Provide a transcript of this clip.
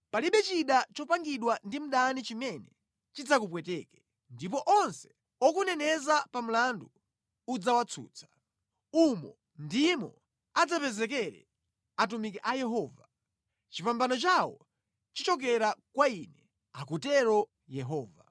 palibe chida chopangidwa ndi mdani chimene chidzakupweteke, ndipo onse okuneneza pa mlandu udzawatsutsa. Umu ndimo adzapezekere atumiki a Yehova. Chipambano chawo chichokera kwa Ine,” akutero Yehova.